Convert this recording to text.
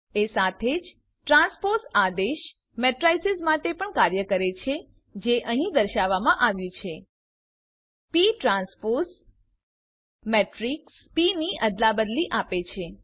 એ સાથે જ ટ્રાન્સપોઝ આદેશ મેટ્રીસીસ માટે પણ કાર્ય કરે છે જે અહીં દર્શાવવામાં આવ્યું છે પ ટ્રાન્સપોઝ મેટ્રીક્સ પ ની અદલાબદલી આપે છે